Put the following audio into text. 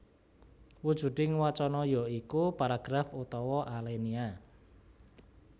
Wujuding wacana ya iku paragraf utawa alenia